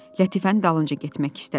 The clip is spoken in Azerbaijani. Lətifənin dalınca getmək istədi.